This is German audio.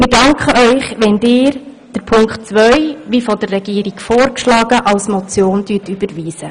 Wir danken Ihnen, wenn Sie Punkt zwei wie von der Regierung vorgeschlagen als Motion überweisen.